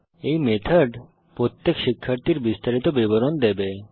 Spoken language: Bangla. এই মেথড প্রত্যেক শিক্ষার্থীর বিস্তারিত বিবরণ দেবে